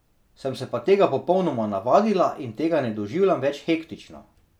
Sem se pa tega popolnoma navadila in tega ne doživljam več hektično.